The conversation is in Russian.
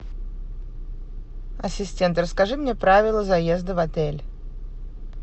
ассистент расскажи мне правила заезда в отель